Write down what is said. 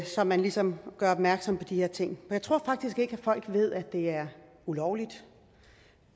så man ligesom gør opmærksom på de her ting jeg tror faktisk ikke at folk ved at det er ulovligt